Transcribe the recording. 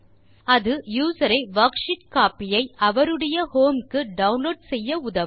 அது யூசர் ஒரு worksheet copy ஐ அவருடைய ஹோம் க்கு டவுன்லோட் செய்ய உதவும்